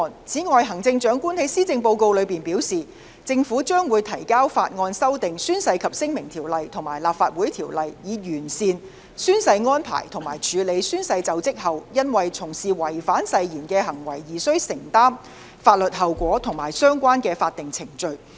此外，行政長官在施政報告中表示，政府將會提交法案修訂《宣誓及聲明條例》和《立法會條例》，以完善宣誓安排及處理宣誓就職後，因從事違反誓言的行為而須承擔的法律後果和相關的法定程序。